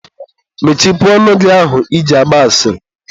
mechipụ ọnụ gị ahụ I ji agba asịrị.